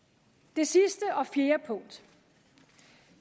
det sidste og fjerde punkt